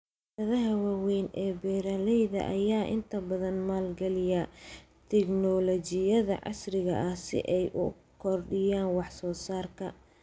Shirkadaha waaweyn ee beeralayda ayaa inta badan maalgeliya tignoolajiyada casriga ah si ay u kordhiyaan wax soo saarka.